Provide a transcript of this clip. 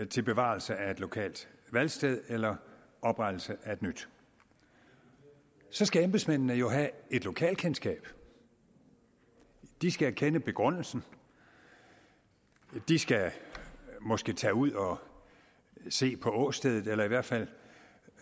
til bevarelse af et lokalt valgsted eller oprettelse af et nyt så skal embedsmændene have et lokalkendskab de skal kende begrundelsen de skal måske tage ud og se på åstedet eller i hvert fald